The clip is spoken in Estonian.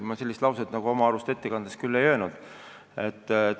Ma sellist lauset oma arust ettekandes küll ei öelnud.